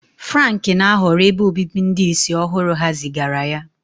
Frank na-ahọrọ ebe obibi ndị ìsì ọhụrụ ha zigara ya.